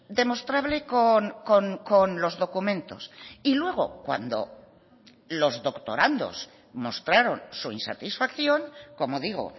demostrable con los documentos y luego cuando los doctorandos mostraron su insatisfacción como digo